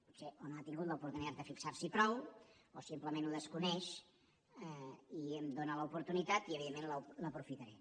potser o no ha tingut l’oportunitat de fixar s’hi prou o simplement ho desconeix i em dóna l’oportunitat i evidentment l’aprofitaré